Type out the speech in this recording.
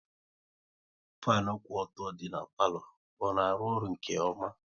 Fanu kwụ ọtọ dị n'palo, ọ na arụ ọrụ nke ọma?